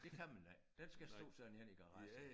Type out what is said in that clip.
Det kan man ikke den skal stå sådan henne i garagen